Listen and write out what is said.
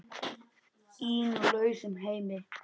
Í nú lausum heimi.